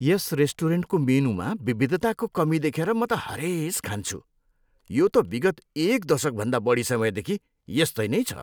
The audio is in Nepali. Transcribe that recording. यस रेस्टुरेन्टको मेनुमा विविधताको कमी देखेर म त हरेस खान्छु, यो त विगत एक दशकभन्दा बढी समयदेखि यस्तै नै छ।